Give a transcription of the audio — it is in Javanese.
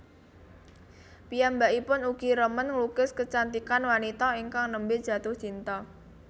Piyambakipun ugi remen nglukis kecantikan wanita ingkang nembe jatuh cinta